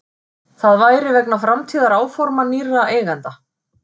Það væri vegna framtíðaráforma nýrra eigenda